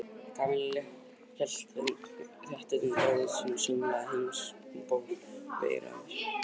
Kamilla hélt þétt utan um bróður sinn og sönglaði Heims um ból við eyra hans.